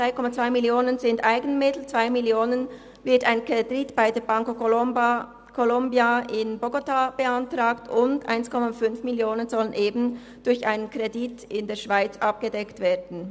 3,2 Mio. Franken sind Eigenmittel, ein Kredit von 2 Mio. Franken wird bei der Bancolombia in Bogotá beantragt, und 1,5 Mio. Franken sollen eben durch einen Kredit in der Schweiz abgedeckt werden.